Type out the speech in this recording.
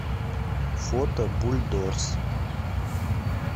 фото бульдорс